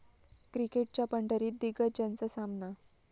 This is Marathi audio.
क्रिकेटच्या पंढरीत दिग्गजांचा सामना